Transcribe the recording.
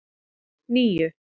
níu